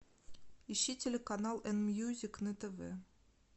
ищи телеканал н мьюзик на тв